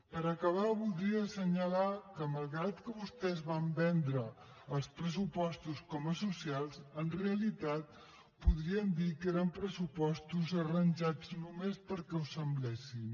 per acabar voldria assenyalar que malgrat que vostès van vendre els pressupostos com a socials en realitat podríem dir que eren pressupostos arranjats només perquè ho semblessin